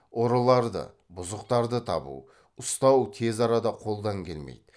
ұрыларды бұзықтарды табу ұстау тез арада қолдан келмейді